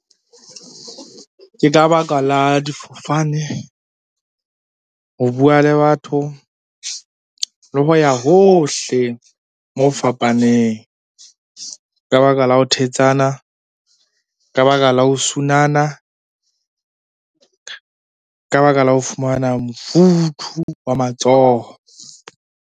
Ke ka baka la difofane, ho bua le batho, le ho ya hohle moo fapaneng. Ka baka la ho thetsana, ka baka la ho sunana, ka baka la ho fumana mofuthu wa matsoho.